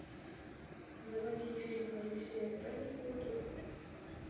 заводи фильм алексея праздникова дурак